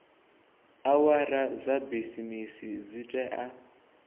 awara dza bisimisi dzi tea